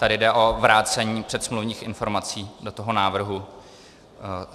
Tady jde o vrácení předsmluvních informací do toho návrhu.